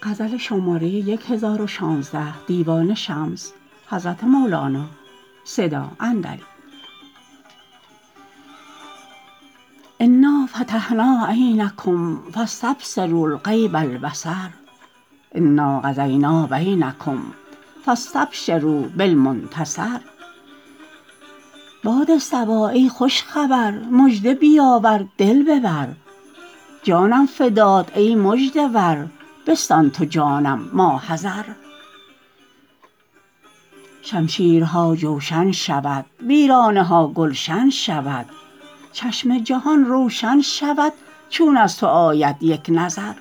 انا فتحنا عینکم فاستبصروا الغیب البصر انا قضینا بینکم فاستبشروا بالمنتصر باد صبا ای خوش خبر مژده بیاور دل ببر جانم فدات ای مژده ور بستان تو جانم ماحضر شمشیرها جوشن شود ویرانه ها گلشن شود چشم جهان روشن شود چون از تو آید یک نظر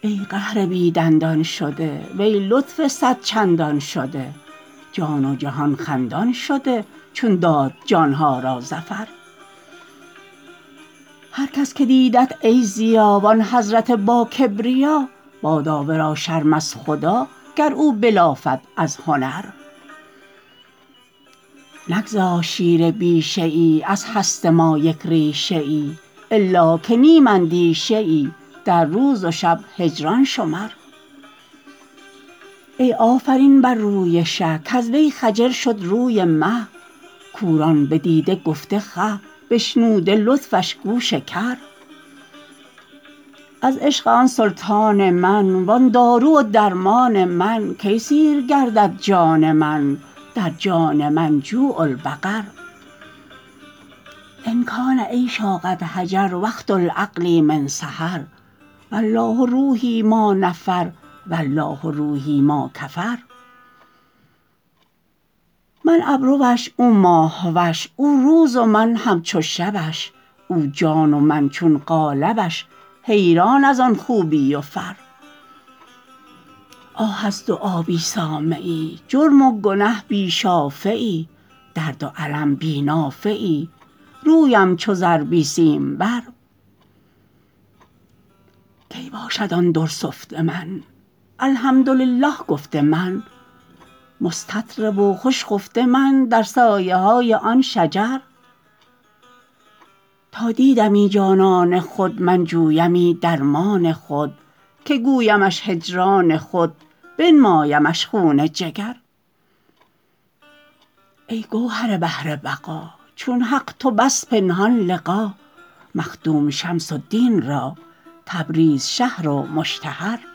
ای قهر بی دندان شده وی لطف صد چندان شده جان و جهان خندان شده چون داد جان ها را ظفر هر کس که دیدت ای ضیا وان حضرت باکبریا بادا ورا شرم از خدا گر او بلافد از هنر نگذاشت شیر بیشه ای از هست ما یک ریشه ای الا که نیم اندیشه ای در روز و شب هجران شمر ای آفرین بر روی شه کز وی خجل شد روی مه کوران به دیده گفته خه بشنوده لطفش گوش کر از عشق آن سلطان من وان دارو و درمان من کی سیر گردد جان من در جان من جوع البقر ان کان عیشا قد هجر و اختل عقلی من سهر والله روحی ما نفر والله روحی ما کفر من ابروش او ماه وش او روز و من همچو شبش او جان و من چون قالبش حیران از آن خوبی و فر آه از دعا بی سامعی جرم و گنه بی شافعی درد و الم بی نافعی رویم چو زر بی سیمبر کی باشد آن در سفته من الحمدلله گفته من مستطرب و خوش خفته من در سایه های آن شجر تا دیدمی جانان خود من جویمی درمان خود که گویمش هجران خود بنمایمش خون جگر ای گوهر بحر بقا چون حق تو بس پنهان لقا مخدوم شمس الدین را تبریز شهر و مشتهر